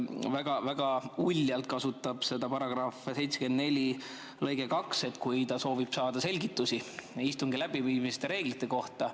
Ta väga uljalt kasutab seda § 74 lõiget 2, kui ta soovib saada selgitusi istungi läbiviimise reeglite kohta.